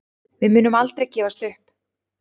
Við munum aldrei gefast upp